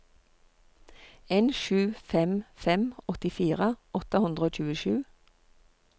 en sju fem fem åttifire åtte hundre og tjuesju